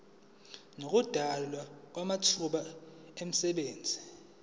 nokudalwa kwamathuba emisebenzi